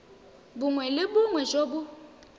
bongwe le bongwe jo bo